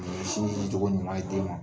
Ni ye Sin di togo ɲuman ye den ma